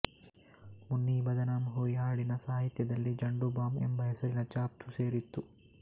ಮುನ್ನಿ ಬದನಾಮ್ ಹುಯಿ ಹಾಡಿನ ಸಾಹಿತ್ಯದಲ್ಲಿ ಜ಼ಂಡು ಬಾಮ್ ಎಂಬ ಹೆಸರಿನ ಛಾಪು ಸೇರಿತ್ತು